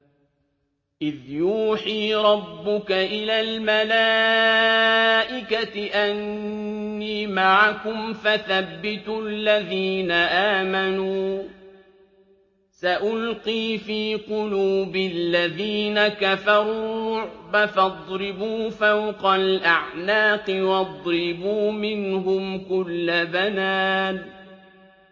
إِذْ يُوحِي رَبُّكَ إِلَى الْمَلَائِكَةِ أَنِّي مَعَكُمْ فَثَبِّتُوا الَّذِينَ آمَنُوا ۚ سَأُلْقِي فِي قُلُوبِ الَّذِينَ كَفَرُوا الرُّعْبَ فَاضْرِبُوا فَوْقَ الْأَعْنَاقِ وَاضْرِبُوا مِنْهُمْ كُلَّ بَنَانٍ